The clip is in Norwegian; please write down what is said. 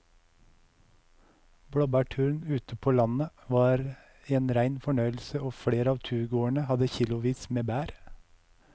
Blåbærturen ute på landet var en rein fornøyelse og flere av turgåerene hadde kilosvis med bær.